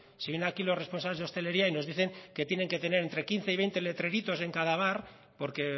si vienen aquí los responsables de hostelería y nos dicen que tienen que tener entre quince y veinte letreritos en cada bar porque